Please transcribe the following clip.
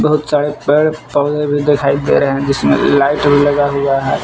बहुत साड़े पौधे भी दिखाई दे रहे हैं जिसमें लाइट भी लगा हुआ है।